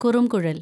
കുറുംകുഴല്‍